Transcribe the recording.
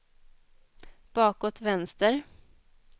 bakåt vänster